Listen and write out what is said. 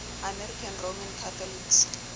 american roman catholics